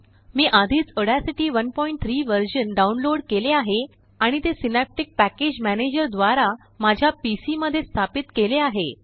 मी आधीच ऑडासिटी13 वर्जनडाउनलोड केले आहे आणि ते सिनॅप्टिक पॅकेज मॅनेजर द्वारा माझ्या पीसी मध्येस्थापित केले आहे